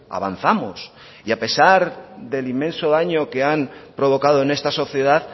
avanzamos y a pesar del inmenso daño que han provocado en esta sociedad